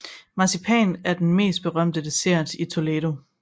Marcipan er den mest berømte dessert i Toledo